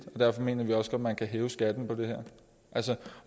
og derfor mener vi også at man kan hæve skatten